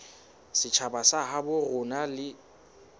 setjhaba sa habo rona e